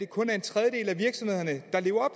kun er en tredjedel af virksomhederne der lever